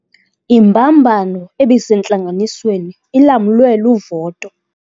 Imbambano ebisentlanganisweni ilamlwe luvoto.